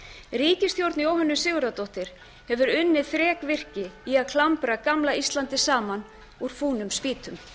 ríkisstjórn jóhönnu sigurðardóttur hefur unnið þrekvirki í því að klambra gamla íslandi saman úr fúnum spýtum